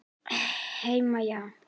Heim, já.